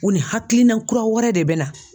U ni hakilina kura wɛrɛ de bɛ na.